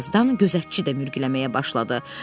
Bir azdan gözətçi də mürgüləməyə başladı.